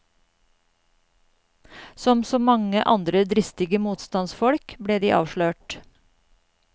Som så mange andre dristige motstandsfolk ble de avslørt.